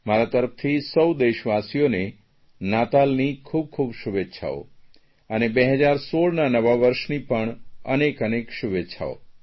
મારા તરફથી સૌ દેશવાસીઓને ક્રિસમસનાતાલની ખૂબ ખૂબ શુભેચ્છાઓ અને 2016ના નવા વર્ષની પણ અનેક અનેક શુભેચ્છાઓ